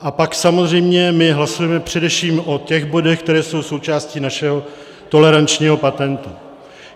A pak samozřejmě my hlasujeme především o těch bodech, které jsou součástí našeho tolerančního patentu.